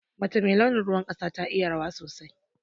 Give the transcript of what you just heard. Mace mai launin ruwan ƙasa ta iya rawa sosai.